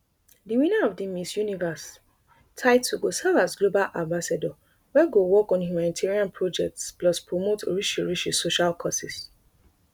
di winner of di miss universe title go serve as global ambassador wey go work on humanitarian projects plus promote orishirishi social causes